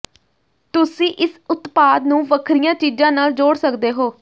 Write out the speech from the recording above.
ਤੁਸੀਂ ਇਸ ਉਤਪਾਦ ਨੂੰ ਵੱਖਰੀਆਂ ਚੀਜ਼ਾਂ ਨਾਲ ਜੋੜ ਸਕਦੇ ਹੋ